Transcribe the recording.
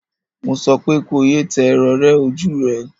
Mo sọ pé ko ye tẹ rorẹ ojú rẹ!